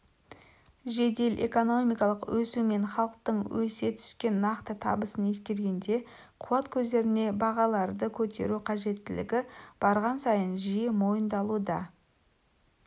жедел экономикалық өсу мен халықтың өсе түскен нақты табысын ескергенде қуат көздеріне бағаларды көтеру қажеттілігі барған сайын жиі мойындалуда